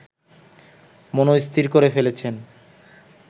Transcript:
মনস্থির করে ফেলেছেন